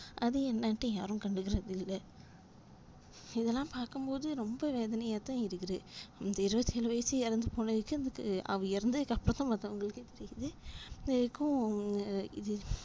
அது என்னட்டு யாரும் கண்டுக்குறது இல்ல இதுலாம் பாக்கும்போது ரொம்ப வேதனையா தான் இருக்குது இந்த இருபத்தி ஏழு வயசு இறந்து போனதுக்கே அதுக்கு அவ இறந்ததுக்கு அப்புறம் தான் மத்தவங்களுக்கே தெரியுது. இது வரைக்கும், ஆஹ் இது